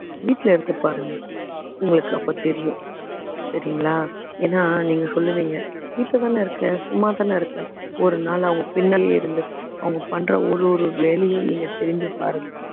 வீட்டுல இருந்து பாருங்க உங்களுக்கு அப்ப தெரியும் சரிங்களா ஏன்னா நீங்க சொல்லுவீங்க வீட்டுலதானே இருக்க சும்மாதான இருக்க ஒரு நாள் அவங்க பின்னாடி இருந்து அவங்க பண்ற ஒரு ஒரு வேலையும் நீங்க திரும்பி பாருங்க